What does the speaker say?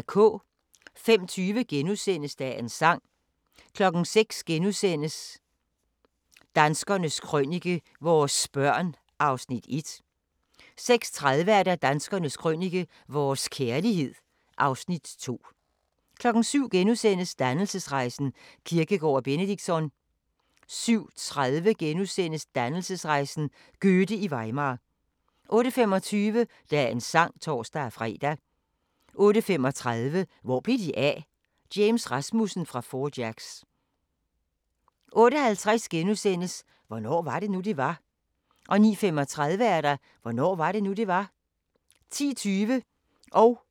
05:20: Dagens Sang * 06:00: Danskernes Krønike - vores børn (Afs. 1)* 06:30: Danskernes Krønike - vores kærlighed (Afs. 2) 07:00: Dannelsesrejsen – Kierkegaard og Benedictsson * 07:30: Dannelsesrejsen – Goethe i Weimar * 08:25: Dagens sang (tor-fre) 08:35: Hvor blev de af? – James Rasmussen fra Four Jacks 08:50: Hvornår var det nu, det var? * 09:35: Hvornår var det nu, det var? 10:20: Kvit eller Dobbelt *